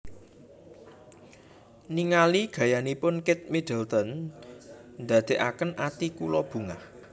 Ningali gayanipun Kate Middleton ndadeaken ati kula bungah